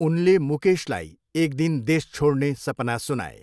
उनले मुकेशलाई एक दिन देश छोड्ने सपना सुनाए।